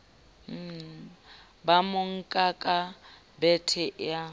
ba monka ka bethe eo